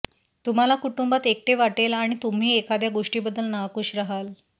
तुम्हाला कुटुंबात एकटे वाटेल आणि तुम्ही एखाद्या गोष्टीबद्दल नाखुश राहाल